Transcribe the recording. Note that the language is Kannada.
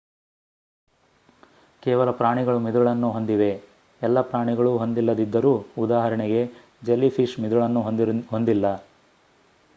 ಕೇವಲ ಪ್ರಾಣಿಗಳು ಮಿದುಳನ್ನು ಹೊಂದಿವೆ ಎಲ್ಲ ಪ್ರಾಣಿಗಳು ಹೊಂದಿಲ್ಲದಿದ್ದರೂ; ಉದಾಹರಣೆಗೆ ಜೆಲ್ಲಿಫಿಶ್‌ ಮಿದುಳನ್ನು ಹೊಂದಿಲ್ಲ